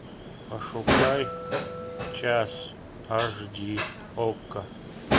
пошукай час аш ди окко